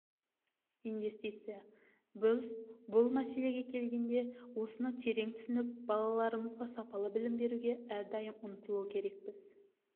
инвестиция біз бұл мәселеге келгенде осыны терең түсініп балаларымызға сапалы білім беруге әрдайым ұмтылу керекпіз